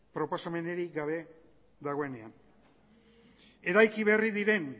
proposamenenik gabe dagoenean eraiki berri diren